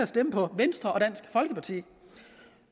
stemme på venstre og dansk folkeparti